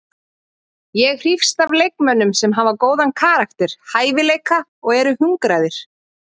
Ég hrífst að leikmönnum sem hafa góðan karakter, hæfileika og eru hungraðir.